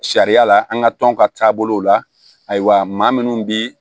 Sariya la an ka tɔn ka taabolow la ayiwa maa minnu bi